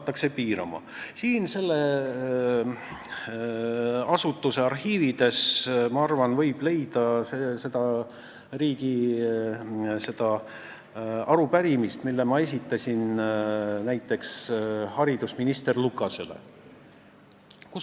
Ma arvan, et siit selle asutuse arhiividest võib leida näiteks arupärimise, mille ma esitasin haridusminister Lukasele.